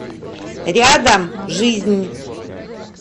рядом жизнь